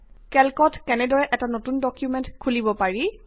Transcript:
কেল্কত কেনেদৰে এটা নতুন ডকুমেন্ট অপেন কৰিব পাৰি